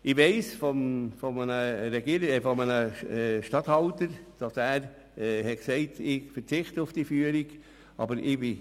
Ich weiss von einem Regierungsstatthalter, dass er gesagt hat, er verzichte auf die Führung seiner Arbeitsstunden.